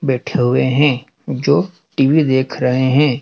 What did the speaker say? बैठे हुए हैं जो टी_वी देख रहे हैं।